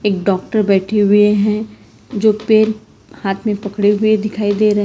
एक डॉक्टर बैठे हुए हैं जो पेन हाथ में पड़े हुए दिखाई दे रहे हैं।